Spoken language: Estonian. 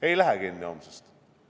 Ei lähe homsest kinni.